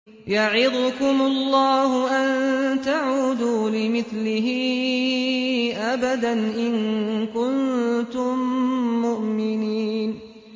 يَعِظُكُمُ اللَّهُ أَن تَعُودُوا لِمِثْلِهِ أَبَدًا إِن كُنتُم مُّؤْمِنِينَ